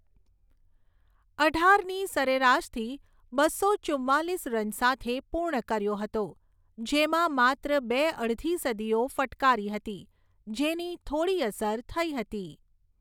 અઢારની સરેરાશથી બસો ચુંમાલીસ રન સાથે પૂર્ણ કર્યો હતો, જેમાં માત્ર બે અડધી સદીઓ ફટકારી હતી જેની થોડી અસર થઈ હતી.